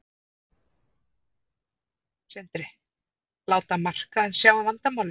Sindri: Láta markaðinn sjá um vandamálin?